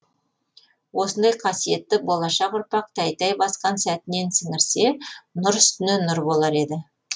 осындай қасиетті болашақ ұрпақ тәй тәй басқан сәтінен сіңірсе нұр үстіне нұр болар еді